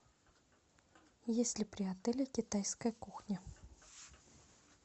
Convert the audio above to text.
есть ли при отеле китайская кухня